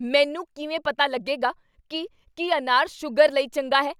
ਮੈਨੂੰ ਕਿਵੇਂ ਪਤਾ ਲੱਗੇਗਾ ਕੀ ਕੀ ਅਨਾਰ ਸੂਗਰ ਲਈ ਚੰਗਾ ਹੈ?